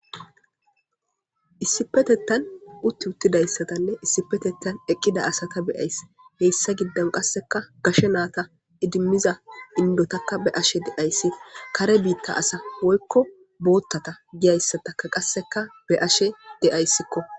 Issipetetan utiutidaysatanne issipetetan eqida asata be'ays heysa gidon qaseka gashe nata idimaza indotaka be'ashe days kare bita asa woyko botata giyaysatakka qaseka be'ashe de'aysiko.